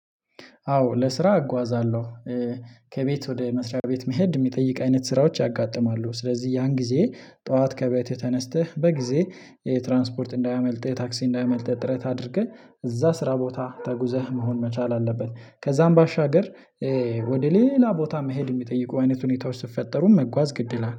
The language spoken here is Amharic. አዎ ለስራ እጓዛለሁ። ከቤት ወደ መስሪያ ቤት መሄድ ሚጠይቅ አይነት ስራዎች ያጋጥማሉ ስለዚህ ያን ጊዜ ጥዋት ከቤት የተነስተህ በጊዜ የትራንስፖርት እንዳያመልጥህ የታክሲ እንዳያመልጥህ ጥረት አድርገህ እዛ ስራ ቦታ ተጉዘህ መሆን መቻል አለበት። ከዛም ባሻገር ወደ ሌላ ቦታ መሄድ የሚጠይቁ አይነት ሁኔታዎች ስትፈጠሩ መጓዝ ግድ ይላል